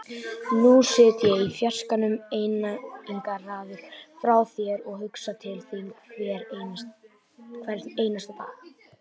Nú sit ég í fjarskanum, einangraður frá þér, og hugsa til þín hvern einasta dag.